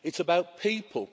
It's about people.